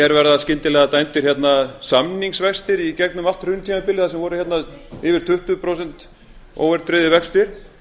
mér verða skyndilega dæmdir samningsvextir í gegnum allt hruntímabilið þar sem voru yfir tuttugu prósent óverðtryggðir vextir